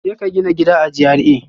Jeka gina gidan a GRA